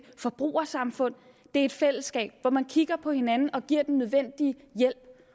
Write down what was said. forbrugersamfund det et fællesskab hvor man kigger på hinanden og giver den nødvendige hjælp